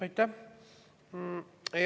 Aitäh!